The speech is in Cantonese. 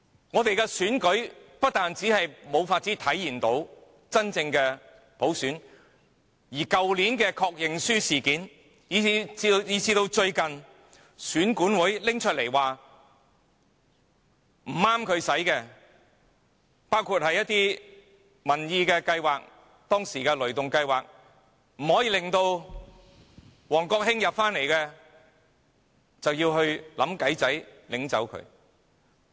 我們的選舉不單無法體現真正的普選，去年的確認書事件以至最近選舉管理委員會表示不合宜的一些民意計劃，即當時令王國興不能重返議會的"雷動計劃"，他們更會想辦法禁止。